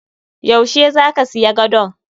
Yau she zaka siya gadon?